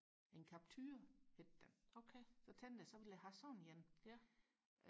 en Capture hed den så tænkte jeg så vil jeg have sådan en